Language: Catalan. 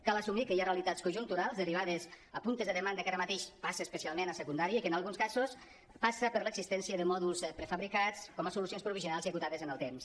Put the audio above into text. cal assumir que hi ha realitats conjunturals derivades de puntes de demanda que ara mateix passa especialment a secundària i que en alguns casos passa per l’existència de mòduls prefabricats com a solucions provisionals i acotades en el temps